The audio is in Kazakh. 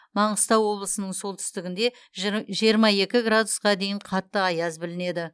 маңғыстау облысының солтүстігінде жыр жиырма екі градусқа дейін қатты аяз білінеді